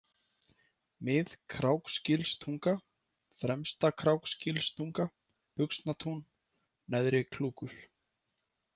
Mið-Kráksgilstunga, Fremsta-Kráksgilstunga, Buxnatún, Neðri-Klúkur